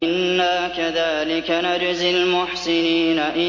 إِنَّا كَذَٰلِكَ نَجْزِي الْمُحْسِنِينَ